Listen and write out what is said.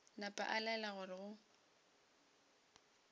napa a laela gore go